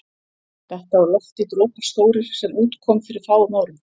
Detta úr lofti dropar stórir, sem út kom fyrir fáum árum.